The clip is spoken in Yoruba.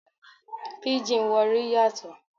Píjìn Warri yàtọ̀.